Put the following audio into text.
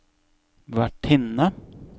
vertinne